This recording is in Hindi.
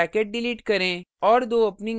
यहाँ closing bracket डिलीट करें